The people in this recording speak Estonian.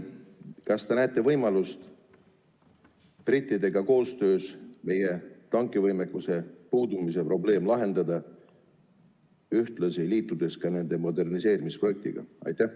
Kas te näete võimalust brittidega koostöös meie tankivõimekuse puudumise probleem lahendada, ühtlasi liitudes nende moderniseerimisprojektiga?